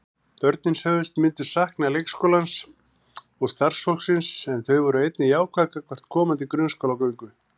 Börnin sögðust myndu sakna leikskólans og starfsfólksins en þau voru einnig jákvæð gagnvart komandi grunnskólagöngu.